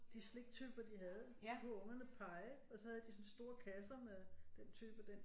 De sliktyper de havde så kunne ungerne pege og så havde de sådan store kasser med den type den